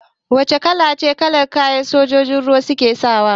Wace kalace kalar kayan da sojojin ruwa suke sawa?